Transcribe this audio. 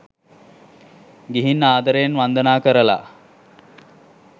ගිහින් ආදරයෙන් වන්දනා කරලා